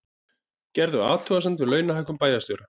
Gerðu athugasemd við launahækkun bæjarstjóra